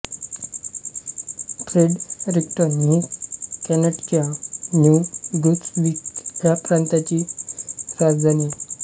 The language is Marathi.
फ्रेडरिक्टन ही कॅनडाच्या न्यू ब्रुन्सविक ह्या प्रांताची राजधानी आहे